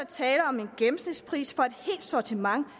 tale om en gennemsnitspris for et helt sortiment